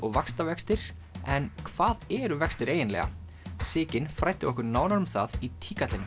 vaxtavextir en hvað eru vextir eiginlega Sigyn fræddi okkur nánar um það í